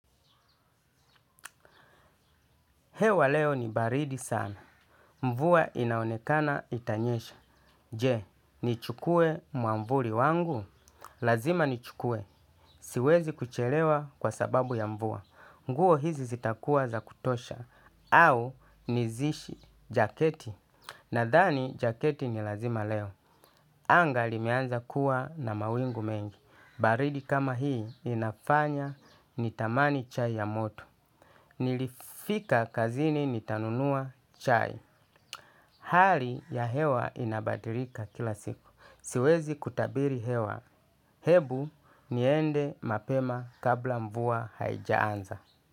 Hewa leo ni baridi sana. Mvua inaonekana itanyesha. Je, nichukue mwavuli wangu? Lazima nichukue. Siwezi kuchelewa kwa sababu ya mvua. Nguo hizi zitakuwa za kutosha. Au nizishi jaketi. Nadhani, jaketi ni lazima leo. Anga limeanza kuwa na mawingu mengi. Baridi kama hii inafanya nitamani chai ya moto. Nilifika kazini nitanunua chai. Hali ya hewa inabadilika kila siku. Siwezi kutabiri hewa. Hebu niende mapema kabla mvua haijaanza.